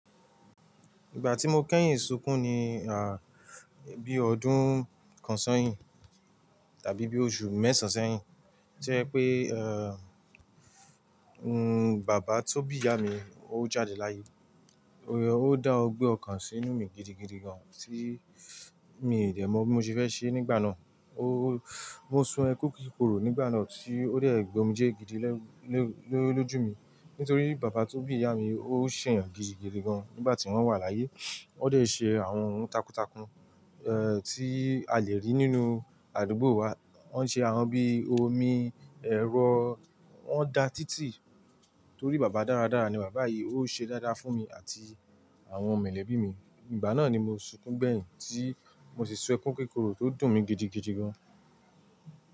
Ìgbà tí mo kẹ́yìn sunkún ni, à, bí ọdún kan sẹ́yìn tàbí bí oṣù mẹ́sàn sẹ́yìn, jẹ́ pé, ẹ́, baba tó bí ìyá mi, ó jáde láyé. Ó dá ọgbẹ́ ọkàn sínú mi gidigidi gan tíì mi dẹ̀ mọ́ mo fi fẹ́ ṣe nígbà náà. Ó, mo sun ẹkún kíkorò nígbà náà tí ó dẹ̀ gba omi jẹ́ gidi ní ójú mi. Nítorí baba tó bí ìyá mi, ó ṣẹ̀yàn gidigidi gan nígbà tí wọ́n wà láyé. Wọ́n dẹ̀ ṣe àwọn ohun takuntakun, ẹ́, tí a lè rí nínú àdúgbò wa. Wọ́n ṣe àwọn bí i omi, ẹ̀rọ, wọ́n da títì. Nítorí baba dáradára ni, baba yìí ó ṣe dáadáa fún mi àti àwọn mẹ̀lẹ́bí mi. Ìgbà náà ni mo sunkún gbẹ́yìn tí mo sì sun ẹkún kíkorò tó dùn mí gidigidi gan.